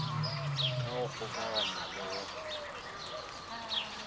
ka go kgokaganywa le go